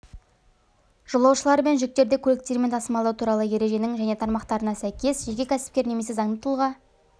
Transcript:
жолаушылар мен жүктерді көліктермен тасымалдау туралы ереженің және тармақтарына сәйкес жеке кәсіпкер немесе заңды тұлға